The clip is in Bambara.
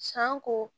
Sanko